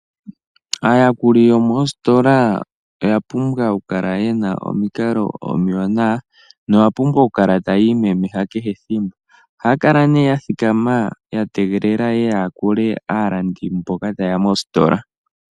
Aayakuli yomoositola oya pumbwa okukala ye na omikalo omiwanawa noya pumbwa okukala taya imemeha kehe ethimbo. Ohaya kala ya thikama ya tegelela ye ye ya yakule aalandi mboka taye ya mositola.